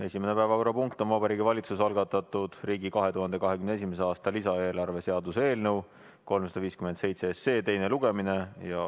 Esimene päevakorrapunkt on Vabariigi Valitsuse algatatud riigi 2021. aasta lisaeelarve seaduse eelnõu 357 teine lugemine.